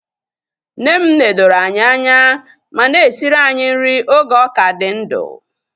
Nne m nedoro anyị anya ma na-esiri anyị nri oge ọ ka dị ndụ